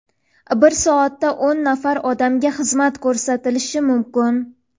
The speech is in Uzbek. bir soatda o‘n nafar odamga xizmat ko‘rsatilishi mumkin.